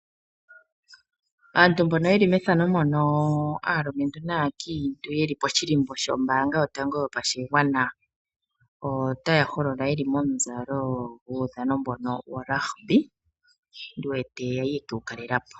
Aantu mbono yeli methano mono aalumentu naankiintu yeli poshilimbo shombaanga yotango yopashigwana, otaa holola yeli momuzalo guudhano mbono worugby ndi wete yali yeke wu kalela po.